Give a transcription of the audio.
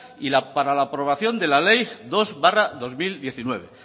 y para la aprobación de la ley dos barra dos mil diecinueve